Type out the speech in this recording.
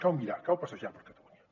cal mirar cal passejar per catalunya